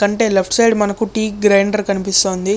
అంటే left side మనకు tea grinder కనిపిస్తుంది.